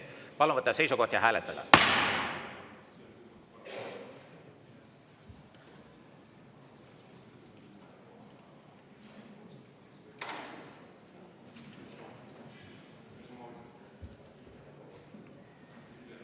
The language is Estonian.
Palun võtta seisukoht ja hääletada!